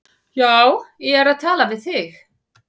Já, ég er að tala við þig!